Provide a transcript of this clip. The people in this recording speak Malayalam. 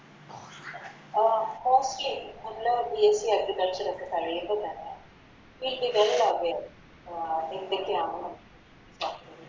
അഹ് Okay അതില് BSCAgriculture ഒക്കെ കഴിയുമ്പോ തന്നെ അഹ് എന്തൊക്കെയാണ്